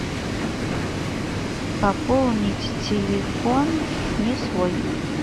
пополнить телефон не свой